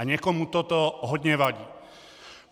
A někomu toto hodně vadí.